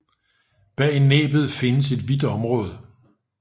Bag næbbet findes et hvidt område